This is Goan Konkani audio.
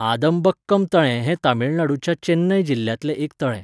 आदमबक्कम तळें हें तमिळनाडूच्या चेन्नय जिल्ह्यांतलें एक तळें.